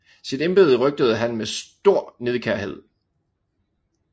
Sit embede røgtede han med stor nidkærhed